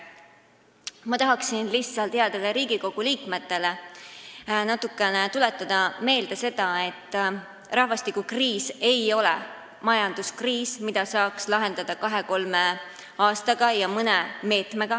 Ma tahan lihtsalt headele Riigikogu liikmetele meelde tuletada, et rahvastikukriis ei ole majanduskriis, mida saaks lahendada kahe-kolme aastaga ja mõne meetmega.